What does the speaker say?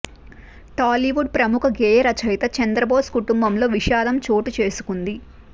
టాలీవుడ్ ప్రముఖ గేయ రచయిత చంద్రబోస్ కుటుంబంలో విషాదం చోటు చేసుకుంది